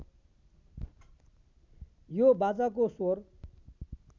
यो बाजाको स्वर